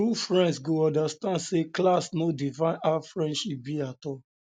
true friends go understand say class no define how friendship be at all